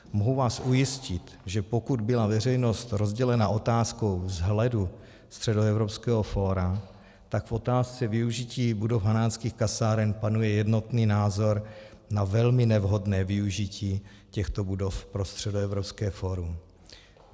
Mohu vás ujistit, že pokud byla veřejnost rozdělena otázkou vzhledu Středoevropského fóra, tak v otázce využití budov Hanáckých kasáren panuje jednotný názor na velmi nevhodné využití těchto budov pro Středoevropské fórum.